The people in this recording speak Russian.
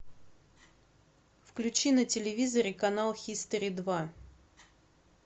включи на телевизоре канал хистори два